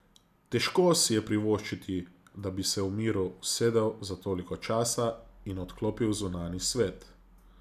Težko si je privoščiti, da bi se v miru usedel za toliko časa in odklopil zunanji svet.